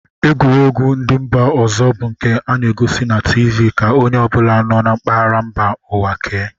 Egwuregwu ndị mba ọzọ bụ nke a na-egosi na tiivii ka onye ọ bụla nọ na mpaghara mba ụwa kee